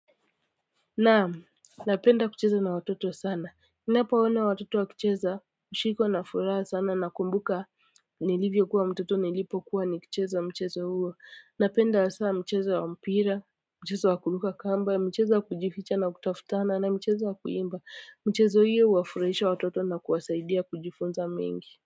Naam napenda kucheza na watoto sana napoona watoto wakicheza hushikwa na furaha sana nakumbuka nilivyokuwa mtoto nilipokuwa nikicheza mchezo huo napenda hasa mchezo wa mpira mchezo wa kuruka kamba mchezo wa kujificha na kutafutana na mchezo wa kuimba mchezo hio huwafurahisha watoto na kuwasaidia kujifunza mengi.